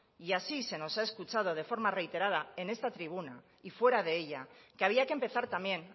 y así se nos ha escuchado de forma reiterada en esta tribuna y fuera de ella que había que empezar también